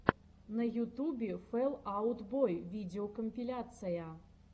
на ютубе фэл аут бой видеокомпиляция